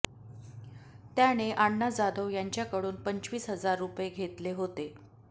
त्याने आण्णा जाधव याच्याकडून पंचवीस हजार रुपये घेतले होते